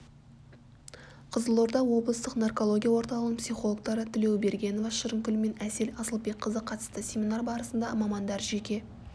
қызылорда облыстық наркология орталығының психологтары тілеубергенова шырынкүл мен асел асылбекқызы қатысты семинар барысында мамандар жеке